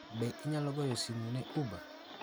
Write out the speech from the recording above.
Be inyalo goyo simu ne Uber?